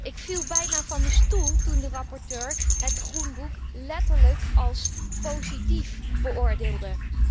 Ik viel bijna van mijn stoel toen de rapporteur het Groenboek letterlijk als positief beoordeelde.